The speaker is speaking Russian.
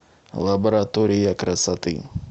лаборатория красоты